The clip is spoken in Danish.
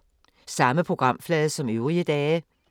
Samme programflade som øvrige dage